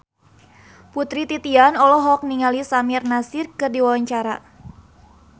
Putri Titian olohok ningali Samir Nasri keur diwawancara